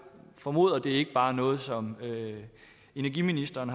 formoder at det ikke bare er noget som energiministeren